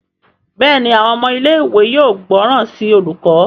Béèni Àwọn ọmọ ilé ìwé yóò gbóròn sí olùkó.